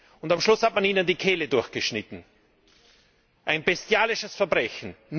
Und am Schluss hat man ihnen die Kehle durchgeschnitten. Ein bestialisches Verbrechen!